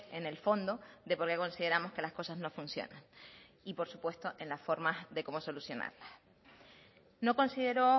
en el fondo de por qué consideramos que las cosas no funcionan y por supuesto en las formas de cómo solucionarlas no considero